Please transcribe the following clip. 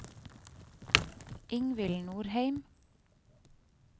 Ingvill Norheim